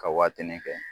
Ka waatinin kɛ